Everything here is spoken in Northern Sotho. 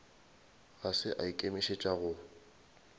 ga se a ikemišetša go